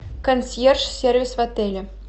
консьерж сервис в отеле